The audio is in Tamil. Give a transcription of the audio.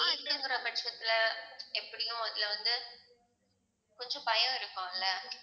பட்சத்துல எப்படியும் இதுல வந்து கொஞ்சம் பயம் இருக்கும்ல